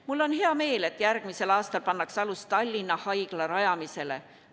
Mul on hea meel, et järgmisel aastal pannakse alus Tallinna Haigla rajamisele.